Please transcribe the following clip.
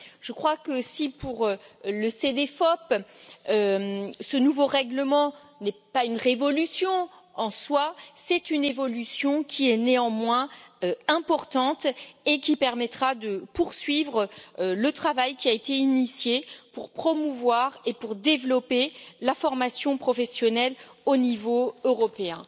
Je crois que si, pour le Cedefop, ce nouveau règlement n'est pas une révolution en soi, c'est une évolution qui est néanmoins importante et qui permettra de poursuivre le travail qui a été initié pour promouvoir et pour développer la formation professionnelle au niveau européen.